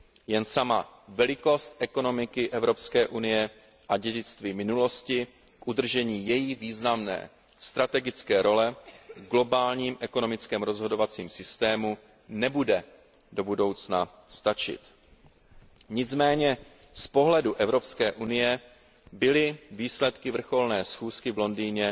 Jen sama velikost ekonomiky EU a dědictví minulosti k udržení její významné strategické role v globálním ekonomickém rozhodovacím systému nebude do budoucna stačit. Nicméně z pohledu EU byly výsledky vrcholné schůzky v Londýně